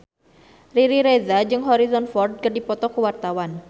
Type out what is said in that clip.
Riri Reza jeung Harrison Ford keur dipoto ku wartawan